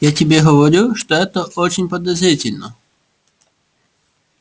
я тебе говорю что это очень подозрительно